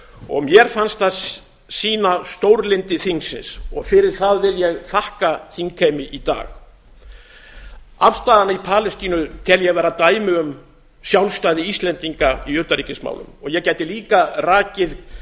og mér fannst það sýna stórlyndi þingsins fyrir það vil ég þakka þingheimi í dag afstöðuna í palestínu tel ég vera dæmi um sjálfstæði íslendinga í utanríkismálum ég gæti líka rakið